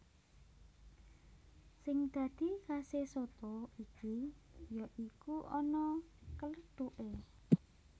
Sing dadi khase soto iki ya iku ana klêthuké